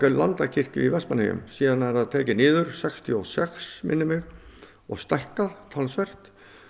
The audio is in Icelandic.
Landakirkju í Vestmannaeyjum síðan er það tekið niður sextíu og sex og stækkað talsvert